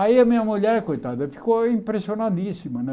Aí a minha mulher, coitada, ficou impressionadíssima né.